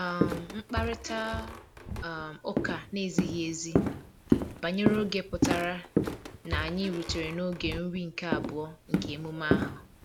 um Mkparịta um ụka na-ezighi ezi banyere oge pụtara na anyị rutere n'oge nri nke abụọ nke emume ahụ